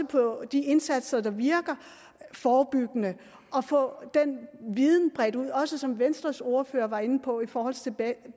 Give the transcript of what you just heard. på de indsatser der virker forebyggende og få den viden bredt ud og som venstres ordfører også var inde på i forhold til